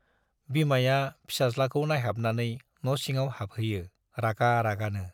बिमाया फिसाज्लाखौ नाइहाबनानै न' सिङाव हाबहैयो रागा रागानो।